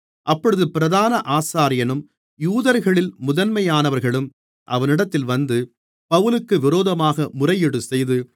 அப்பொழுது பிரதான ஆசாரியனும் யூதர்களில் முதன்மையானவர்களும் அவனிடத்தில் வந்து பவுலுக்கு விரோதமாக முறையீடுசெய்து